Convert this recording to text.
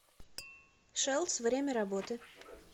шэлдс время работы